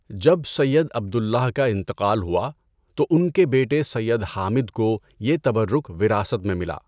جب سید عبد اللہ کا انتقال ہوا تو ان کے بیٹے سید حامد کو یہ تبرک وراثت میں ملا۔